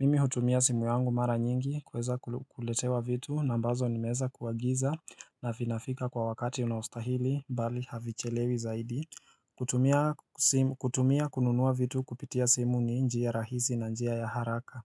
Mimi hutumia simu yangu mara nyingi kweza ku kuletewa vitu na ambazo ni meeza kuagiza na vinafika kwa wakati unaostahili bali havichelewi zaidi hutumia kutumia kununua vitu kupitia simu ni njia rahisi na njia ya haraka.